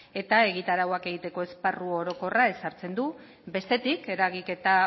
eta egitarauak egiteko esparru orokorra ezartzen du bestetik eragiketa